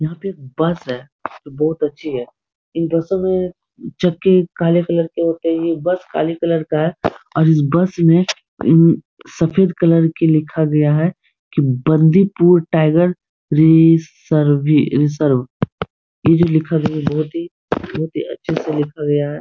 यहाँ पे एक बस है बहुत अच्छी है इन बसों में चक्के काले कलर के होते हैं | बस काले कलर का है और इस बस में इन सफ़ेद कलर के लिखा गया है कि Bandipur tiger reserve reserve ये जो लिखा हुआ है बहुत ही बहुत ही अच्छे से लिखा गया है ।